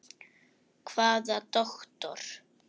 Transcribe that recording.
Hvaða doktor?